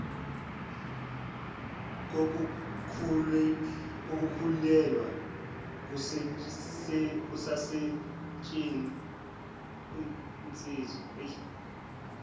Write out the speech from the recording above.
kokukhulelwa kusasetshen ziswa